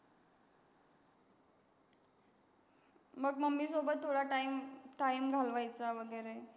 मग mummy सोबत थोडा time, time घालवायचा वगैरे.